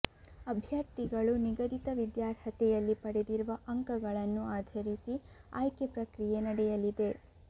ಅಭ್ಯರ್ಥಿಗಳು ನಿಗದಿತ ವಿದ್ಯಾರ್ಹತೆಯಲ್ಲಿ ಪಡೆದಿರುವ ಅಂಕಗಳನ್ನು ಆಧರಿಸಿ ಆಯ್ಕೆ ಪ್ರಕ್ರಿಯೆ ನಡೆಯಲಿದೆ